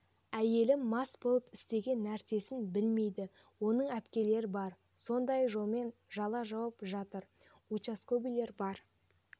әйелім мас болып істеген нәрсесін білмейді оның әпкелері бар сондай жолмен жала жауып жатыр участковыйлар бар